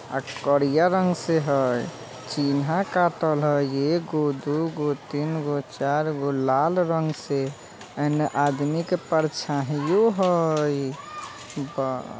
अ करिया रंग से हई चिन्हा कातल हई एगो दुगो तीनगो चारगो लाल रंग से एने आदमीयों के परछाहियों हई वाह।